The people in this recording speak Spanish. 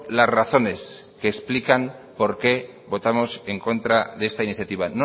las razones que explican por qué votamos en contra de esta iniciativa